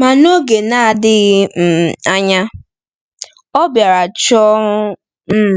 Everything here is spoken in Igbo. Ma n’oge na-adịghị um anya, ọ bịara chọọ um m